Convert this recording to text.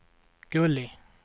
Gulli